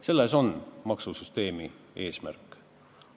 Selles on maksusüsteemi eesmärk.